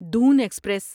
دون ایکسپریس